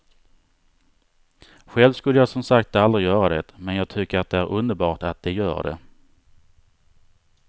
Själv skulle jag som sagt aldrig göra det men jag tycker att det är underbart att de gör det.